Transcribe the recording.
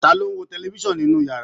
Ta ló ń wo tẹlifisan ninu yàrá?